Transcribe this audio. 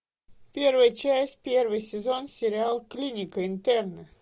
первая часть первый сезон сериал клиника интерны